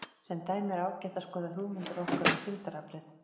Sem dæmi er ágætt að skoða hugmyndir okkar um þyngdaraflið.